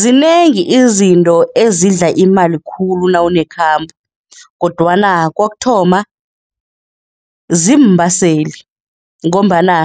Zinengi izinto ezidla imali khulu nawunekhambo kodwana kokuthoma, ziimbaseli ngombana